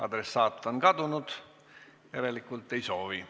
Adressaat on kadunud, järelikult ei soovi.